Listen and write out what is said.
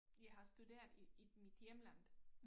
Jeg har studeret i i mit hjemland